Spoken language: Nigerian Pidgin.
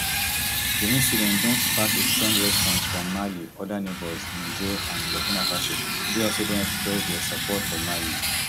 di incident don spark a strong response from mali oda neighbours niger and burkina faso wey also don express dia support for mali